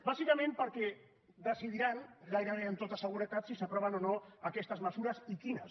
bàsicament perquè decidiran gairebé amb tota seguretat si s’aproven o no aquestes mesures i quines